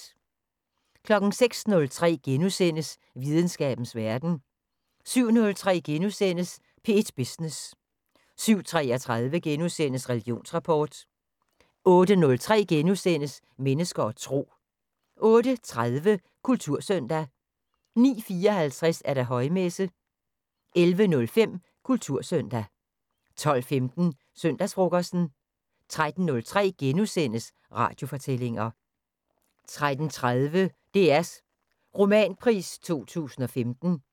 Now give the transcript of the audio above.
06:03: Videnskabens Verden * 07:03: P1 Business * 07:33: Religionsrapport * 08:03: Mennesker og Tro * 08:30: Kultursøndag 09:54: Højmesse - 11:05: Kultursøndag 12:15: Søndagsfrokosten 13:03: Radiofortællinger * 13:30: DR's Romanpris 2015